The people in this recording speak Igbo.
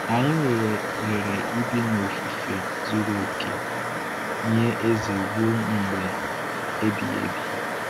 Anyị nwere ohere ibi n’ofufe zuru oke nye Eze ruo mgbe ebighị ebi.